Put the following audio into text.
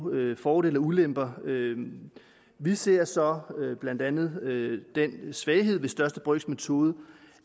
fordele og ulemper vi ser så blandt andet den svaghed ved største brøks metode